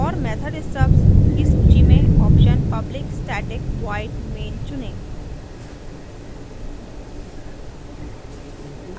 और method stubs की सूची में option public static void main चुनें